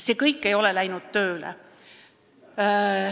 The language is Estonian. See kõik ei ole tööle hakanud.